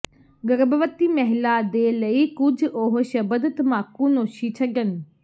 ਗਰਭਵਤੀ ਮਹਿਲਾ ਦੇ ਲਈ ਕੁਝ ਉਹ ਸ਼ਬਦ ਤਮਾਕੂਨੋਸ਼ੀ ਛੱਡਣ